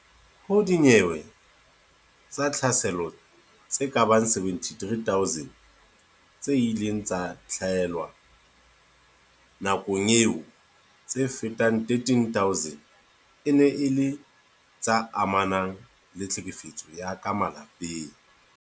Ho dinyewe tsa tlhaselo tse kabang 73 000 tse ileng tsa tlalehwa nakong eo, tse fetang 13000 e ne e le tse amanang le tlhekefetso ya ka malapeng.